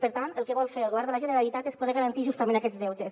per tant el que vol fer el govern de la generalitat és poder garantir justament aquests deutes